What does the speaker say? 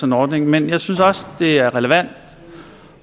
en ordning men jeg synes også det er relevant